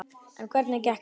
En hvernig gekk þar?